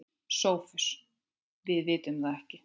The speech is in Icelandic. SOPHUS: Við vitum það ekki.